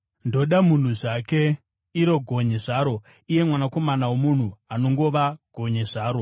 ndoda munhu zvake, iro gonye zvaro, iye mwanakomana womunhu, anongova gonye zvaro!”